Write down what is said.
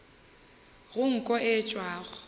go nko ye e tšwago